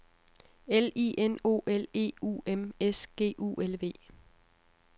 L I N O L E U M S G U L V